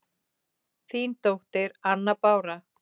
Þín dóttir, Anna Bára.